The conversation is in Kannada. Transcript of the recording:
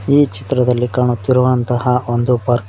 ಈ ಚಿತ್ರದಲ್ಲಿ ಕಾಣುತ್ತಿರುವಂತಹ ಒಂದು ಪಾರ್ಕ್ --